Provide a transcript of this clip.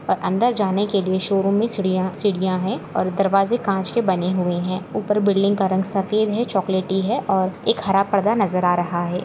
और अंदर जाने के लिए शोरूम में सीढिया सीढिया है और दरवाजे कांच के बने हुए है ऊपर बिल्डिंग का रंग सफेद है चोकलेटी है और एक हरा पर्दा नजर आ रहा है।